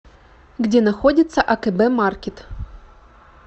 где находится акб маркет